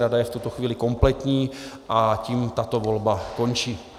Rada je v tuto chvíli kompletní a tím tato volba končí.